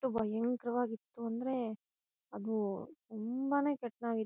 ಭಯಂಕರವಾಗಿತ್ತು ಅಂದ್ರೆ ಅದು ತುಂಬಾನೆ ಕೆಟ್ಟದಾ--.